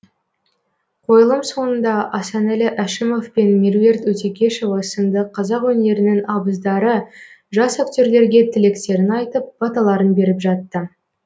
қойылым соңында асанәлі әшімеов пен меруерт өтекешова сынды қазақ өнерінің абыздары жас актерлерге тілектерін айтып баталарын беріп жатты